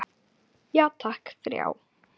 Já takk, þrjá.